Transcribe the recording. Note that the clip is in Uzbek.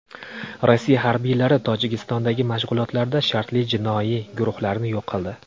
Rossiya harbiylari Tojikistondagi mashg‘ulotlarda shartli jinoiy guruhlarni yo‘q qildi.